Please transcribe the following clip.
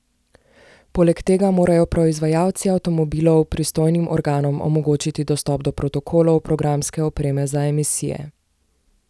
Poleg tega morajo proizvajalci avtomobilov pristojnim organom omogočiti dostop do protokolov programske opreme za emisije.